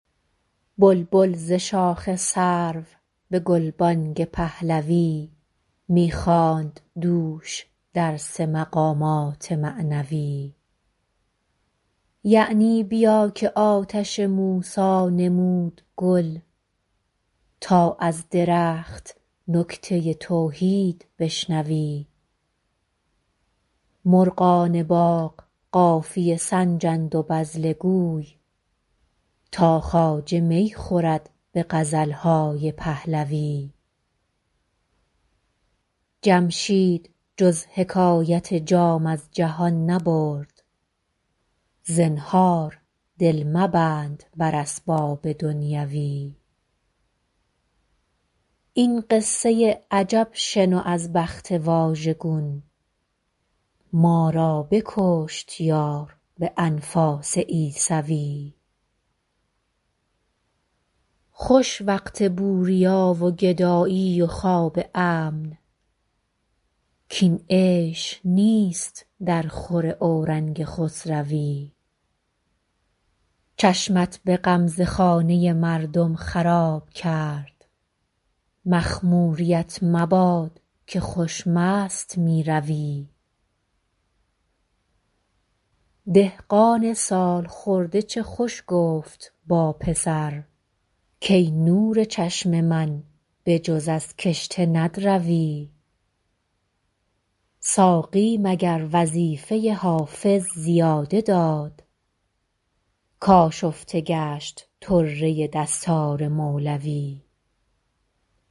بلبل ز شاخ سرو به گلبانگ پهلوی می خواند دوش درس مقامات معنوی یعنی بیا که آتش موسی نمود گل تا از درخت نکته توحید بشنوی مرغان باغ قافیه سنجند و بذله گوی تا خواجه می خورد به غزل های پهلوی جمشید جز حکایت جام از جهان نبرد زنهار دل مبند بر اسباب دنیوی این قصه عجب شنو از بخت واژگون ما را بکشت یار به انفاس عیسوی خوش وقت بوریا و گدایی و خواب امن کاین عیش نیست درخور اورنگ خسروی چشمت به غمزه خانه مردم خراب کرد مخموریـت مباد که خوش مست می روی دهقان سال خورده چه خوش گفت با پسر کای نور چشم من به جز از کشته ندروی ساقی مگر وظیفه حافظ زیاده داد کآشفته گشت طره دستار مولوی